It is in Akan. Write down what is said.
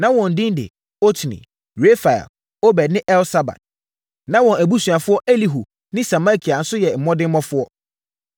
Na wɔn edin ne: Otni, Refael, Obed ne Elsabad; na wɔn abusuafoɔ Elihu ne Semakia nso yɛ mmɔdemmɔfoɔ.